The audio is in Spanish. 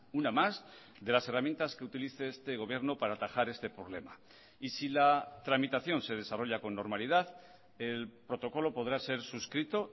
una más de las herramientas que utilice este gobierno para atajar este problema y si la tramitación se desarrolla con normalidad el protocolo podrá ser suscrito